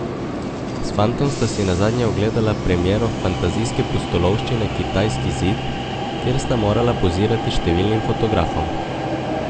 S fantom sta si nazadnje ogledala premiero fantazijske pustolovščine Kitajski zid, kjer sta morala pozirati številnim fotografom.